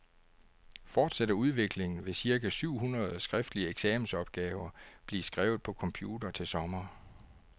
Fortsætter udviklingen, vil cirka syv hundrede skriftlige eksamensopgaver blive skrevet på computer til sommer.